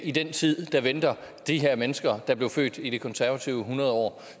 i den tid der venter de her mennesker der blev født i det konservative folkepartis hundredår